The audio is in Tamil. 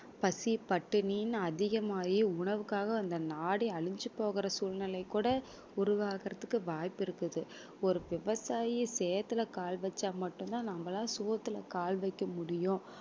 பசி பட்டினி என்று அதிகமாயி உணவுக்காக அந்த நாடே அழிஞ்சு போகிற சூழ்நிலைக்கு கூட உருவாகுறதுக்கு வாய்ப்பு இருக்குது ஒரு விவசாயி சேத்துல கால் வச்சா மட்டும் தான் நம்மளால சோத்துல கால் வைக்க முடியும்